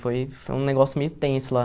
Foi foi um negócio meio tenso lá.